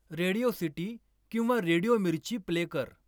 radio city किंवा radio Mirchi play कर